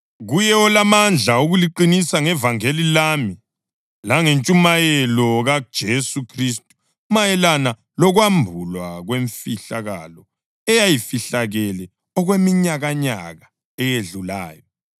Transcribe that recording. Kuye olamandla okuliqinisa ngevangeli lami langentshumayelo kaJesu Khristu, mayelana lokwambulwa kwemfihlakalo eyayifihlakele okweminyakanyaka eyedlulayo,